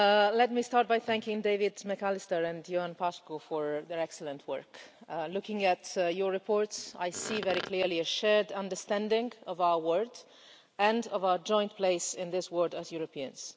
Let me start by thanking David McAllister and Ioan Mircea Paşcu for their excellent work. Looking at your reports, I see very clearly a shared understanding of our world and of our joint place in this world as Europeans.